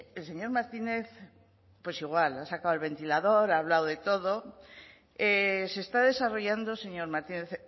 el señor martínez pues igual ha sacado el ventilador ha hablado de todo se está desarrollando señor martínez